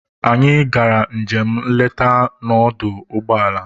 Anyị gara njem nleta na ọdọ ụgbọelu